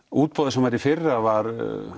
útboðið sem var í fyrra var